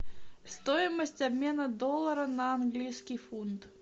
стоимость обмена доллара на английский фунт